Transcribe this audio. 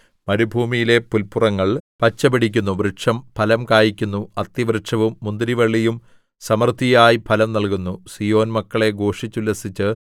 വയലിലെ മൃഗങ്ങളേ ഭയപ്പെടേണ്ടാ മരുഭൂമിയിലെ പുല്പുറങ്ങൾ പച്ചപിടിക്കുന്നു വൃക്ഷം ഫലം കായ്ക്കുന്നു അത്തിവൃക്ഷവും മുന്തിരിവള്ളിയും സമൃദ്ധിയായി ഫലം നല്കുന്നു